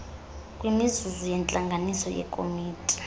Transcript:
kwimizuzu yentlanganiso yekomiti